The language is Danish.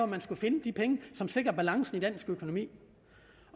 man skulle finde de penge som sikrer balancen i dansk økonomi